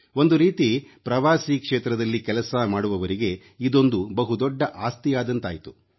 ಒಂದು ರೀತಿ ಪ್ರವಾಸೀ ಕ್ಷೇತ್ರದಲ್ಲಿ ಕೆಲಸ ಮಾಡುವವರಿಗೆ ಇದೊಂದು ಬಹು ದೊಡ್ಡ ಆಸ್ತಿಯಾದಂತಾಯ್ತು